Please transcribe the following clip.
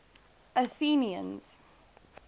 athenians